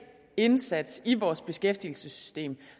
indsats i vores beskæftigelsessystem